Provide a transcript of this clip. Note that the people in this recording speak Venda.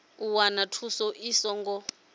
u wana thuso i songo